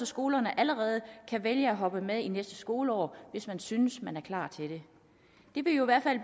skolerne allerede kan vælge at hoppe med i næste skoleår hvis man synes man er klar til det det vil jo